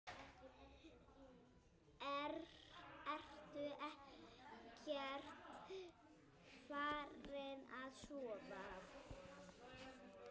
Ertu ekkert farin að sofa!